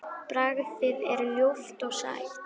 Bragðið er ljúft og sætt.